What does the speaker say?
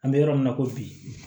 An bɛ yɔrɔ min na i ko bi